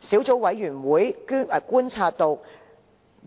小組委員會觀察到，